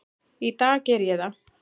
Í dag geri ég það.